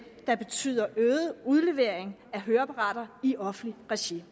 der betyder øget udlevering af høreapparater i offentligt regi